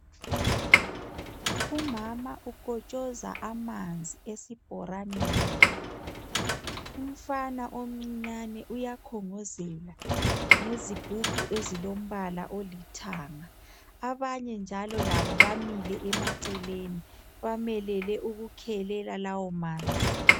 Umama ukotshoza amanzi esibhoraneni. Umfana omcinyane uyakhongozela ngezigubhu ezilompala olithanga. Abanye njalo labo bamile emaceleni, bamelele ukukhelela lawo manzi.